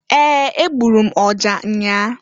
Ee! Egburu m ọja nnyaa.